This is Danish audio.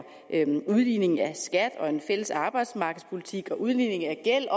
udligning af skat og en fælles arbejdsmarkedspolitik og udligning af gæld